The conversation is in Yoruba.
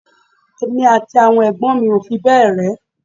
Èmi àti àwọn ẹ̀gbọ́n mi ò fi bẹ́ẹ̀ rẹ́